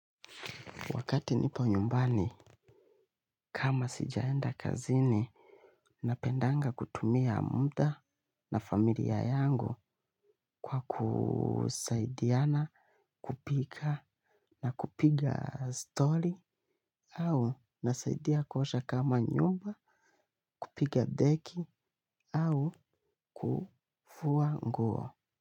Wakati nipo nyumbani, kama sijaenda kazini, napendanga kutumia muda na familia yangu kwa kusaidiana kupika na kupiga story au nasaidia kuosha kama nyumba, kupiga deki au kufua nguo.